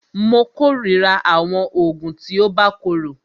Mó kòrira àwọn oògùn tí o bá korò.